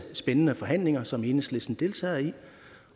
spændende forhandlinger som enhedslisten deltager i